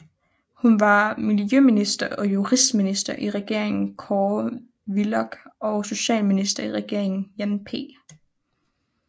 Hun var Miljøminister og Justitsminister i Regeringen Kåre Willoch og Socialminister i Regeringen Jan P